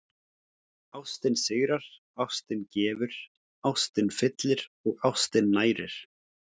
Ástin sigrar, ástin gefur, ástin fyllir og ástin nærir.